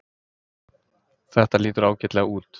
Þetta lítur ágætlega út